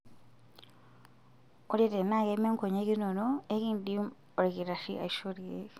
Ore tenaa keme nkonyek inono, enkidim olkitarri aishoo ilkeek.